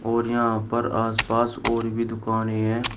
और यहां पर आसपास और भी दुकान है।